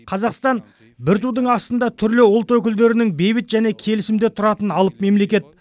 қазақстан бір тудың астында түрлі ұлт өкілдерінің бейбіт және келісімде тұратын алып мемлекет